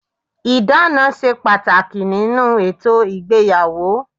Ìdána ṣe pàtàkì nínú ètò ìgbéyàwó